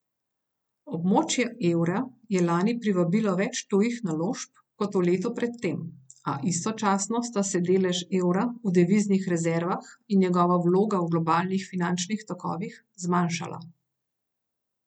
Območje evra je lani privabilo več tujih naložb kot v letu pred tem, a istočasno sta se delež evra v deviznih rezervah in njegova vloga v globalnih finančnih tokovih zmanjšala.